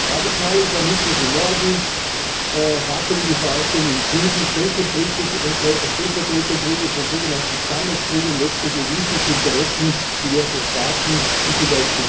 Radikaler Islamismus im Norden, wackelige Verwaltung im Süden, Stellvertreterkriege von sogenannten Stammeskriegern und letztlich egoistische Interessen diverser Staaten wie z.